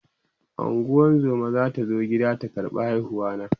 ungozuma zata zo gida ta ƙarɓa haihuwa na